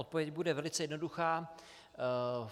Odpověď bude velice jednoduchá.